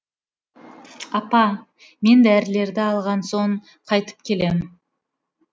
апа мен дәрілерді алған соң қайтып келем